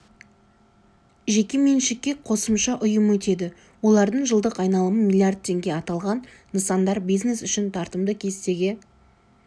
жеке меншікке қосымша ұйым өтеді олардың жылдық айналымы млрд теңге аталған нысандар бизнес үшін тартымды кестеге